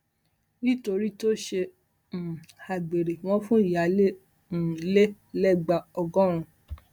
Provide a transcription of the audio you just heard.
nítorí tó ṣe um àgbèrè wọn fún ìyáálé um ilé lẹgba ọgọrùn